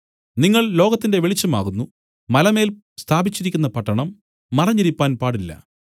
നിങ്ങൾ ലോകത്തിന്റെ വെളിച്ചം ആകുന്നു മലമേൽ സ്ഥാപിച്ചിരിക്കുന്ന പട്ടണം മറഞ്ഞിരിപ്പാൻ പാടില്ല